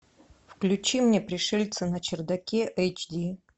включи мне пришельцы на чердаке эйч ди